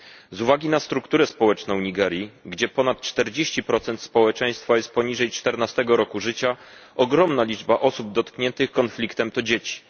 Z uwagi na strukturę społeczną Nigerii, gdzie ponad 40 społeczeństwa jest poniżej 14 roku życia, ogromna liczba osób dotkniętych konfliktem to dzieci.